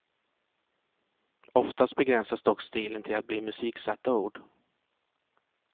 Oftast begränsas dock stilen till att bli musiksatta ord.